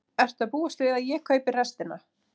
Ertu að búast við að ég kaupi restina?